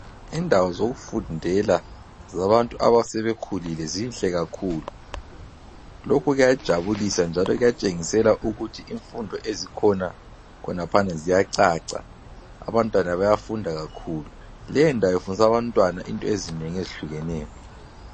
Indawo zokufundela zabantu abasebekhulile zinhle kakhulu. Lokhu kuyajabulisa njalo kuyatshengisela ukuthi imfundo ezikhona khonaphana ziyacaca, abantwana bayafunda kakhulu. Leyondawo ifundisa abantwana into ezinengi ezihlukeneyo.